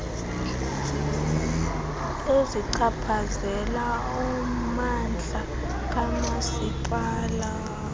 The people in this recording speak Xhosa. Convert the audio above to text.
ezichaphazela ummandla kamasipala